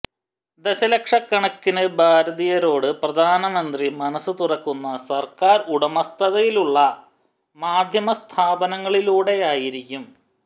ദശലക്ഷക്കണക്കിന് ഭാരതീയരോട് പ്രധാനമന്ത്രി മനസു തുറക്കുക സര്ക്കാര് ഉടമസ്ഥതയിലുള്ള മാധ്യമസ്ഥാപനങ്ങളിലൂടെയായിരിക്കും